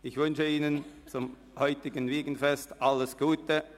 Ich wünsche Ihnen zum heutigen Wiegenfest alles Gute;